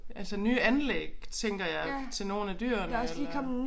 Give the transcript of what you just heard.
Altså nye anlæg tænker jeg til nogle af dyrene eller